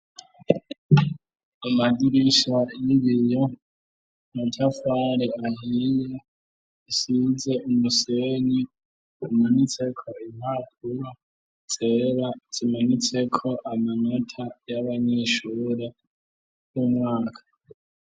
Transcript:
amadirisha y'ibiyo amatafari ahiye isize umusenyi umanitse ko impapuro zera zimanitse ko amanota y'abanyeshure y'umwaka